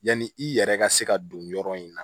Yanni i yɛrɛ ka se ka don yɔrɔ in na